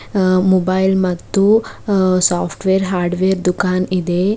ಅ mobile ಮತ್ತು ಅ software hardware ದುಖಾನ್ ಇದೆ.